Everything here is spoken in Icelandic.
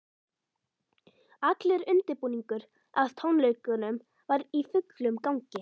Allur undirbúningur að tónleikunum var í fullum gangi.